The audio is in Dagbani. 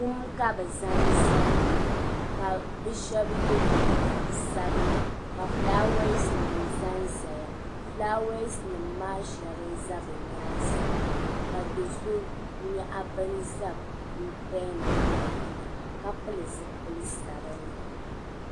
Kum ka bɛ zaŋ zali maa ka bɛ shɛba ye liiga sabila ka fulaawaasinima za n-zaya fulaawaasinima maa shɛŋa n-za bɛ nyaaŋa maa ka do so nyaɣi bini za bɛ nyaaŋa ka pili zipili sabinli.